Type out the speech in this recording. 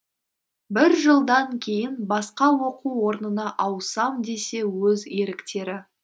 бір жылдан кейін басқа оқу орнына ауысам десе өз еріктері